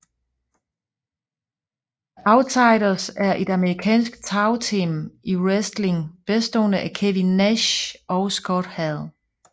The Outsiders er et amerikansk tagteam i wrestling bestående af Kevin Nash og Scott Hall